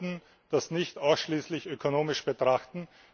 Wir sollten das nicht ausschließlich ökonomisch betrachten.